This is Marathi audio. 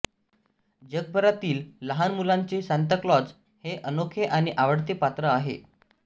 जगभरातील लहान मुलांचे सांताक्लॉज हे अनोखे आणि आवडते पात्र आहे